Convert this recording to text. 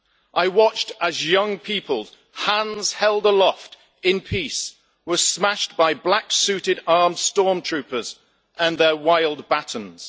I watched as young people, hands held aloft in peace, were smashed by black suited armed storm troopers and their wild batons.